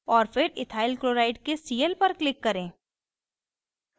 और फिर ethyl chloride के cl पर click करें